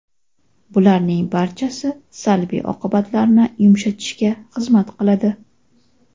Bularning barchasi salbiy oqibatlarni yumshatishga xizmat qiladi.